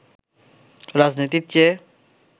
রাজনীতির চেয়ে